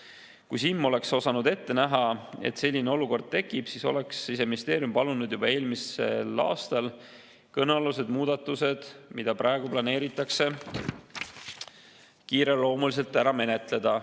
Kui SiM oleks osanud ette näha, et selline olukord tekib, siis oleks Siseministeerium palunud juba eelmisel aastal kõnealused muudatused, mida praegu planeeritakse, kiireloomuliselt ära menetleda.